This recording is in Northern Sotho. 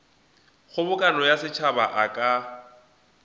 kgobokano ya setšhaba a ka